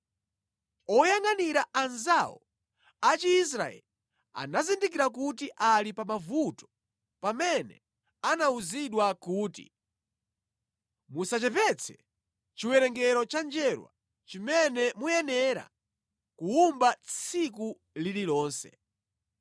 Oyangʼanira anzawo a Chiisraeli anazindikira kuti ali pa mavuto pamene anawuzidwa kuti, “Musachepetse chiwerengero cha njerwa chimene muyenera kuwumba tsiku lililonse.”